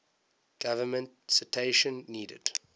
government citation needed